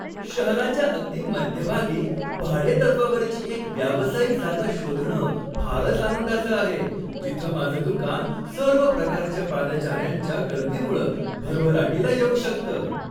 शहराच्या अगदी मध्यभागी भाडेतत्त्वावरची एक व्यावसायिक जागा शोधणं फारच आनंदाचं आहे, जिथं माझं दुकान सर्व प्रकारच्या पादचाऱ्यांच्या गर्दीमुळं भरभराटीला येऊ शकतं.